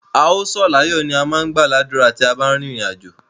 A ó sọ̀ láyó oo, ni a má ń gbà ládùrá tí a bá ń rin ìrìn àjò.